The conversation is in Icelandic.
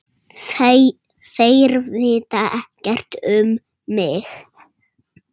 Þeir vita ekkert um mig.